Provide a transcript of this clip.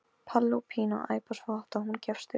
Palli og Pína æpa svo hátt að hún gefst upp.